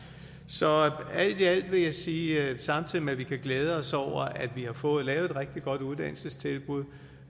så alt i alt vil jeg sige at samtidig med at vi kan glæde os over at vi har fået lavet et rigtig godt uddannelsestilbud